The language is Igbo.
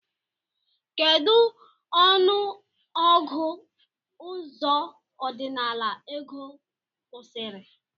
Kedu ọnụ ọgụ ụzọ ọdinala ego kwụsiri?